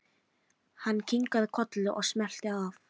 Hann kinkaði kolli og smellti af.